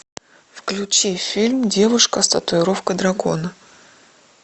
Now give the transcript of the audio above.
включи фильм девушка с татуировкой дракона